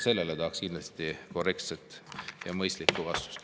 Sellele tahaksin kindlasti korrektset ja mõistlikku vastust.